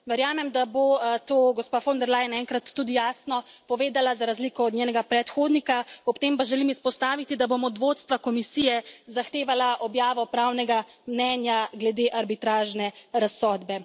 Verjamem, da bo to gospa von de Leyen enkrat tudi jasno povedala za razliko od njenega predhodnika, ob tem pa želim izpostaviti, da bom od vodstva Komisije zahtevala objavo pravnega mnenja glede arbitražne razsodbe.